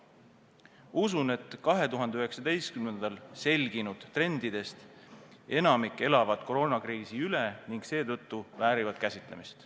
Usun, et 2019. aastal selgunud trendidest enamik elab koroonakriisi üle ning seetõttu väärivad need käsitlemist.